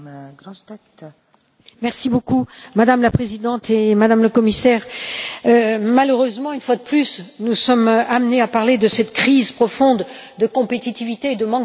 Madame la Présidente, Madame le Commissaire, malheureusement, une fois de plus, nous sommes amenés à parler de cette crise profonde de compétitivité et de manque d'investissement pour notre industrie en Europe.